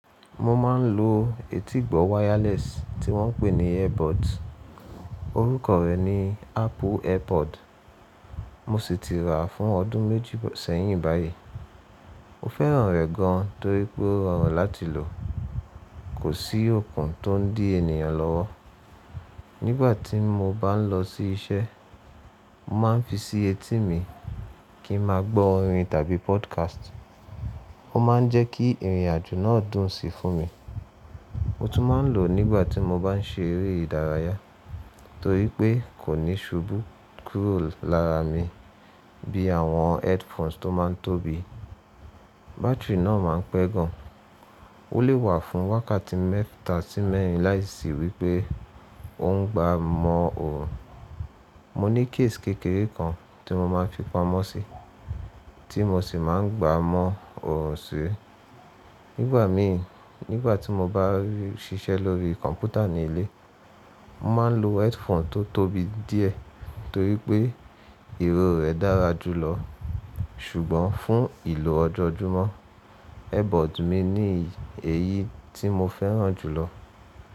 Mo ma n lo etígbọ́ wireless tí wọ́n pe ní airpods. Orúkọ rẹ̀ ni Apple airpod. Mo sì ti rà á fún ọdún méjì sẹ́yìn báyìí. Mo fẹ́ràn rẹ̀ gan torí pé ó rọrùn láti lò. Kò sí okùn tó ń dí ènìyàn lọ́wọ́. Nígbà tí mo bá ń lọ sí iṣẹ́, mo ma ń fi sí etí mi kí n máa gbọ́ orin tàbí podcast. Ó ma ń jẹ́ kí ìrìnàjò náà dùn si fún mi. Mo tún máa ń lò ó nígbà tí mo bá ń ṣe eré ìdárayá torí pé kò ní ṣubú kúrò lára mi bí àwọn headphones tó má ń tóbi. Báátìrì náà ma ń pẹ́ gan. Ó le wà fún wákàtí mẹ́ta sí mẹ́rin láìsí wípé ó ń gba mọ́ òòrùn. Mo ní case kékeré kan tí mo máa ń fi pamọ́ sí, tí mo sì máa ń gbá mọ́ òòrùn sí. Nígbà mi, nígbà tí mo bá n ṣiṣẹ́ lórí kọ̀mpútà ní ilé, mo máa ń lo headphone tó tóbi díẹ̀ torí pé ìró rẹ̀ dára jùlọ. Ṣùgbọ́n fún ìlò ọjọ́ọjúmọ́, airpods mi ní èyí tí mo fẹ́ràn jùlọ.